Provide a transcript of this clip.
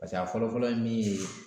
pase a fɔlɔfɔlɔ ye min ye